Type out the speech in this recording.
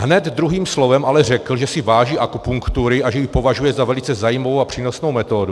Hned druhým slovem ale řekl, že si váží akupunktury a že ji považuje za velice zajímavou a přínosnou metodu.